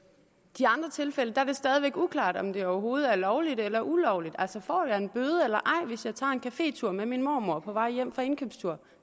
de andre tilfælde er det stadig væk uklart om det overhovedet er lovligt eller ulovligt altså får jeg en bøde eller ej hvis jeg tager en cafétur med min mormor på vej hjem fra indkøbstur